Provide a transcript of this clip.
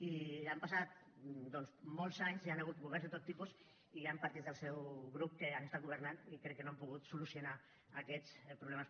i han passat doncs molts anys hi han hagut governs de tot tipus i hi han partits del seu grup que han estat governant i crec que no han pogut solucionar aquests problemes